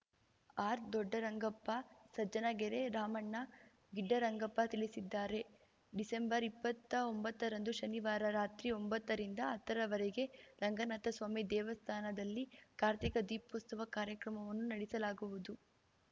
ಆರ್‌ದೊಡ್ಡರಂಗಪ್ಪ ಸಜ್ಜನಗೆರೆ ರಾಮಣ್ಣ ಗಿಡ್ಡರಂಗಪ್ಪ ತಿಳಿಸಿದ್ದಾರೆ ಡಿಸೆಂಬರ್ಇಪ್ಪತ್ತಾ ಒಂಬತ್ತರಂದು ಶನಿವಾರ ರಾತ್ರಿ ಒಂಬತ್ತರಿಂದ ಹತ್ತರವರೆಗೆ ರಂಗನಾಥಸ್ವಾಮಿ ದೇವಸ್ಥಾನದಲ್ಲಿ ಕಾರ್ತಿಕ ದೀಪೋತ್ಸವ ಕಾರ್ಯಕ್ರಮವನ್ನು ನಡೆಸಲಾಗುವುದು